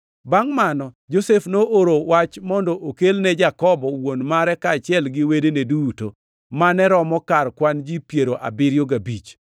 Bangʼ mano, Josef nooro wach mondo okelne Jakobo wuon mare kaachiel gi wedene duto, mane romo kar kwan ji piero abiriyo gabich.